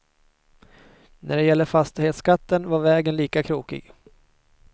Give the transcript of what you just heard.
När det gäller fastighetsskatten var vägen lika krokig.